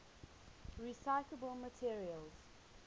recyclable materials